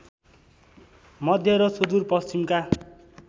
मध्य र सुदूरपश्चिमका